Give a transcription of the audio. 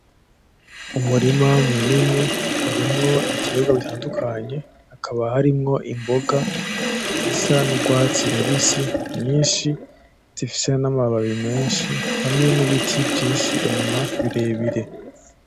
Umurima munini murimwo ibitegwa bitandukanye, hakaba harimwo imboga zisa n'urwatsi rubisi nyinshi, zifise n'amabababi menshi, hamwe n'ibiti vyinshi inyuma birebire.